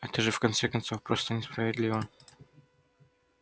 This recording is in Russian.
это же в конце концов просто несправедливо